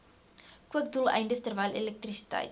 kookdoeleindes terwyl elektrisiteit